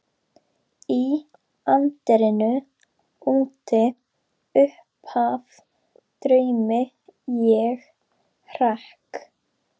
Í anddyrinu úti uppaf draumi ég hrekk.